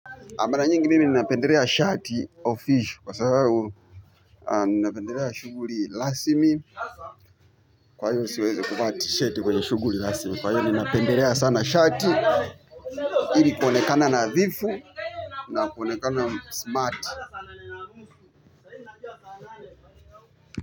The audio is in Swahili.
Mara nyingi nini nina pendelea shati official kwa sababu nina pendelea shughuli rasmi. Kwa hivyo siwezi kuva ti shati kwa shughuli rasmi kwa hiyo nina pendelea sana shati ili kuonekana nadhifu. Na kuonekana smart.